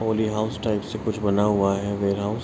Polio house type से कुछ बना हुआ है। वेयरहॉउस --